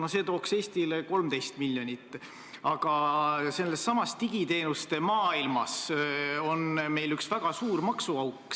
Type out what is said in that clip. Vahest see tooks Eestile 13 miljonit eurot, aga sellessamas digiteenuste maailmas on meil üks väga suur maksuauk.